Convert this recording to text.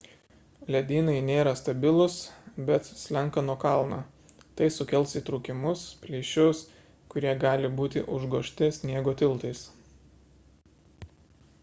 ledynai nėra stabilūs bet slenka nuo kalno tai sukels įtrūkimus plyšius kurie gali būti užgožti sniego tiltais